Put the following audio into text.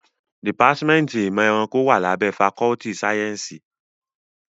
Dìpátímẹ́ntì ìmọ̀ ẹranko wá lábẹ́ fakọ́ltì sáyẹ́nsì.